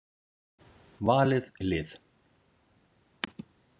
Valið lið.